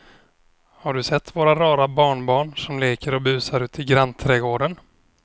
Har du sett våra rara barnbarn som leker och busar ute i grannträdgården!